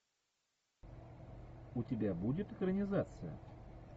у тебя будет экранизация